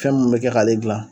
Fɛn mun bɛ kɛ k'ale gilan